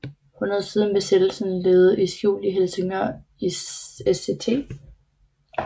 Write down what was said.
Han havde siden Besættelsen levet i skjul i Helsingør i Sct